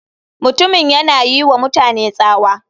Mutumin yana yiwa mutane tsawa.